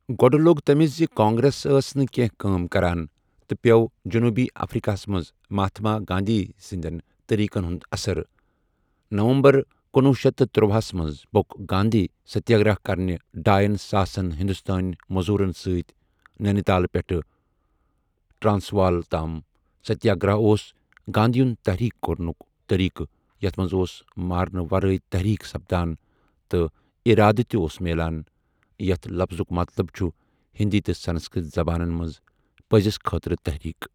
گۄڈ لۆگ تٔمِس زِ کانٛگرٛیس أسؠ نہٕ کێنٛہہ کٲم کَران، تہٕ پیٛۆو جۆنوٗبی اَفرٛیٖقاہَس مَنٛز مَہاتما گانٛدھی سٕنٛدؠن طٔریٖقَن ہُنٛد اَثَر نَوَمبَر کنُوہ شیتھ تہٕ تٔرۄہَ ہَس مَنٛز پۆک گاندھی سَتیٛاگرَہ کَرنہٕ ڈایَن ساسَن ہِندوستٲنؠ مۆزوٗرَن سٟتۍ ننی تالہٕ پؠٹھٕ ٹرٛانٛسوال تام سَتیٛاگرَہ اوس گانٛدھی یُن تٔحریٖک کَرنُک طٔریٖقہٕ یَتھ مَنٛز اوس مارنہٕ وَرٲے تٔحریٖک سَپدان، تہٕ اِرادٕ تہِ اوس میلان یَتھ لَفظُک مَطلَب چھُ ہِندی تہٕ سَنَسکرٕٛت زَبانَن مَنٛز پٔزِس خٲطرٕ تَحریٖک۔